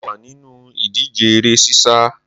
Mo wà nínú ìdíje eré sísá